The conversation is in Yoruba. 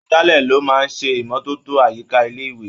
Agbálẹ̀ ló máa ń ṣe ìmọ́tótó àyíká ilé-ìwé.